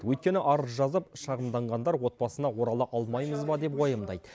өйткені арыз жазып шағымданғандар отбасына орала алмаймыз ба деп уайымдайды